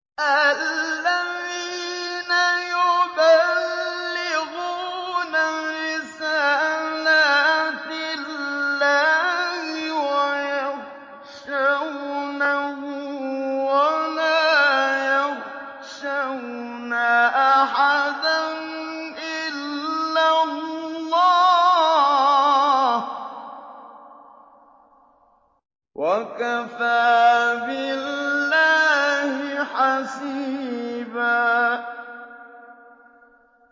الَّذِينَ يُبَلِّغُونَ رِسَالَاتِ اللَّهِ وَيَخْشَوْنَهُ وَلَا يَخْشَوْنَ أَحَدًا إِلَّا اللَّهَ ۗ وَكَفَىٰ بِاللَّهِ حَسِيبًا